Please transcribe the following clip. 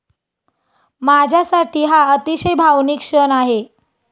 माझ्यासाठी हा अतिशय भावनिक क्षण आहे.